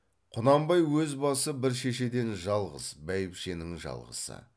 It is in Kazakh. құнанбай өз басы бір шешеден жалғыз бәйбішенің жалғызы